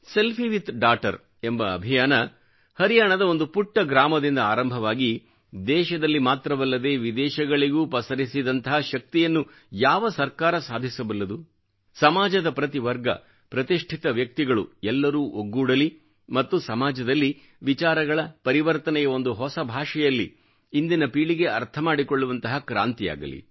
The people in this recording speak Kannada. ಸೆಲ್ಫಿ ವಿತ್ ಡಾಟರ್ ಎಂಬ ಅಭಿಯಾನ ಹರಿಯಾಣದ ಒಂದು ಪುಟ್ಟ ಗ್ರಾಮದಿಂದ ಆರಂಭವಾಗಿ ದೇಶದಲ್ಲಿ ಮಾತ್ರವಲ್ಲದೆ ವಿದೇಶಗಳಿಗೂ ಪಸರಿಸಿದಂಥ ಶಕ್ತಿಯನ್ನು ಯಾವ ಸರ್ಕಾರ ಸಾಧಿಸಬಲ್ಲದು ಸಮಾಜದ ಪ್ರತಿ ವರ್ಗ ಪ್ರತಿಷ್ಠಿತ ವ್ಯಕ್ತಿಗಳು ಎಲ್ಲರೂ ಒಗ್ಗೂಡಲಿ ಮತ್ತು ಸಮಾಜದಲ್ಲಿ ವಿಚಾರಗಳಪರಿವರ್ತನೆಯ ಒಂದು ಹೊಸ ಭಾಷೆಯಲ್ಲಿ ಇಂದಿನ ಪೀಳಿಗೆ ಅರ್ಥ ಮಾಡಿಕೊಳ್ಳುವಂತಹ ಕ್ರಾಂತಿಯಾಗಲಿ